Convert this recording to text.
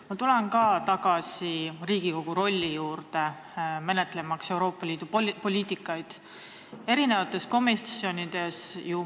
Ma tulen tagasi Riigikogu rolli juurde Euroopa Liidu poliitikate arutamisel.